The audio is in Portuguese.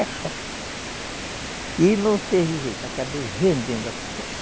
E não teve jeito, acabei vendendo a peste